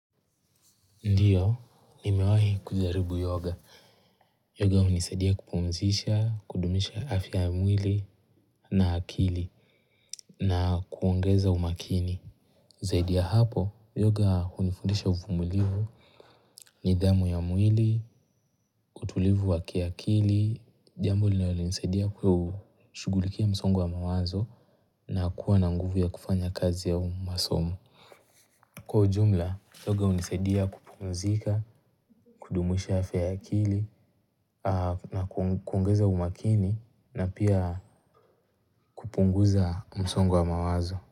Ndiyo, nimewahi kujaribu yoga. Yoga hunisadia kupumzisha, kudumisha afya ya mwili na akili na kuongeza umakini. Zaidi ya hapo, yoga unifundisha ufumulivu nidhamu ya mwili, utulivu wakiakili, jambo linalo nisadia kushugulikia msongo wa mawazo na kuwa na nguvu ya kufanya kazi au masomo. Kwa ujumla, yoga unisaidia kupumzika, kudumusha afya ya akili, na kuongeza umakini, na pia kupunguza msongo wa mawazo.